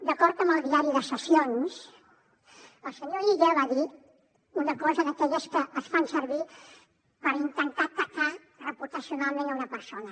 d’acord amb el diari de sessions el senyor illa va dir una cosa d’aquelles que es fan servir per intentar atacar reputacionalment una persona